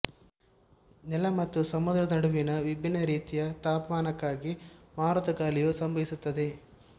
ನೆಲ ಮತ್ತು ಸಮುದ್ರದ ನಡುವಿನ ವಿಭಿನ್ನ ರೀತಿಯ ತಾಪಮಾನಕ್ಕಾಗಿ ಮಾರುತ ಗಾಳಿಯು ಸಂಭವಿಸುತ್ತದೆ